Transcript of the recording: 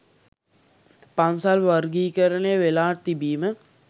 පන්සල් වර්ගීකරනය වෙලා තිබීම